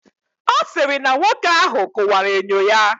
Ọ sịrị na nwoke ahụ kụwara enyo ya.